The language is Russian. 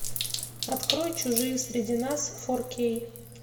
открой чужие среди нас фор кей